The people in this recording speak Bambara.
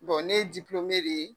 Bon ne ye diplɔme de ye.